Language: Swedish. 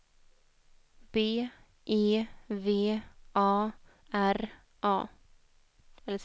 B E V A R A